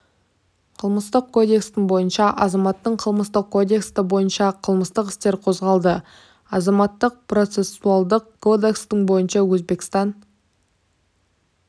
қылмыстық кодекстің бойынша азаматына қылмыстық кодекстің бойынша қылмыстық істер қозғалды азаматтық процессуалдық кодексінің бойынша өзбекстан